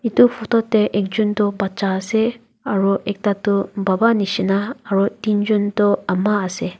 edu photo tae ekjon toh bacha ase aro ekta toh baba nishina aro teenjon toh ama ase.